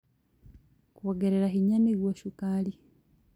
Kwongerera hinya nĩguo cukari